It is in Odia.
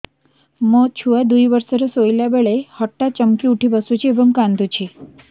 ମୋ ଛୁଆ ଦୁଇ ବର୍ଷର ଶୋଇଲା ବେଳେ ହଠାତ୍ ଚମକି ଉଠି ବସୁଛି ଏବଂ କାଂଦୁଛି